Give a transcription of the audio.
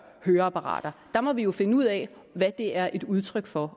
høreapparater der må vi jo finde ud af hvad det er et udtryk for